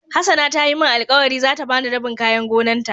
hassana ta Yi min alkawali za ta ba ni rabin kayan gonan ta.